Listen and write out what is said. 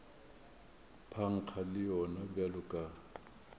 phankga le yona bjalo ka